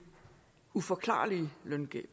uforklarlige løngab